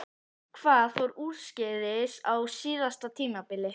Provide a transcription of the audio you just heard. Hvað fór úrskeiðis á síðasta tímabili?